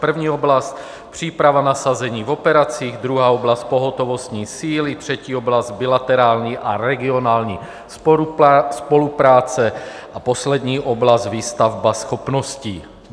První oblast - příprava nasazení v operacích, druhá oblast - pohotovostní síly, třetí oblast - bilaterální a regionální spolupráce a poslední oblast - výstavba schopností.